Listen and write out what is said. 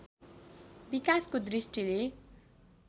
विकासको दृष्टिले